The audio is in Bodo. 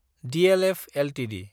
DLF Ltd